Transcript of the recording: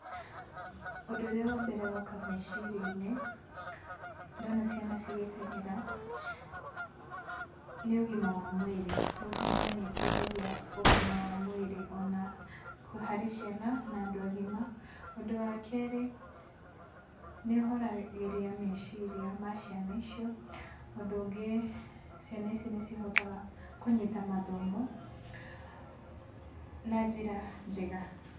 Ũndũ ũrĩa wa mbere woka meciria-inĩ ndona ciana cigĩteng'era nĩ ũgima wa mwĩrĩ. Gũteng'era nĩ ĩteithagia ũgima wa mwĩrĩ o na harĩ ciana na andũ agima. Undũ wa kerĩ, nĩ ũhoragĩria meciria ma ciana icio. Ũndũ ũngĩ, ciana ici nĩ cihotaga kũnyita mathomo na njĩra njega.